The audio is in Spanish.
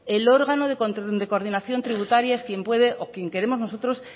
el órgano de coordinación tributaria es quien puede o quien queremos nosotros